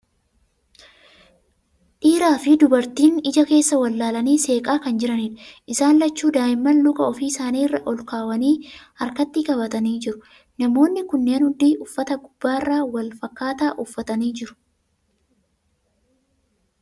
Dhiira fi dubartiin ija keessa wal ilaalanii seeqaa kan jiraniidha. Isaan lachuu daa'imman luka ofii isaanii irra olkaawanii harkatti qabatanii jiru. Namootni kunneen hundi, uffata gubbarraa wal fakkaataa uffatanii jiru.